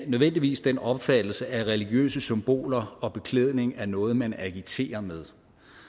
nødvendigvis den opfattelse at religiøse symboler og beklædning er noget man agiterer med